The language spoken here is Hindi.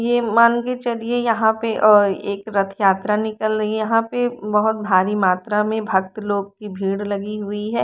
ये मान के चलिए यहाँ पे अ एक रथयात्रा निकल रही है यहां पे बहुत भारी मात्रा में भक्त लोग की भीड़ लगी हुई है।